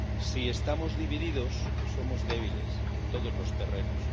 Si estamos divididos, somos débiles en todos los terrenos.